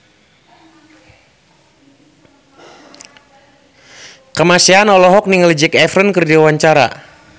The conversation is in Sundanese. Kamasean olohok ningali Zac Efron keur diwawancara